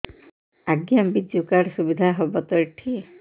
ଆଜ୍ଞା ବିଜୁ କାର୍ଡ ସୁବିଧା ହବ ତ ଏଠି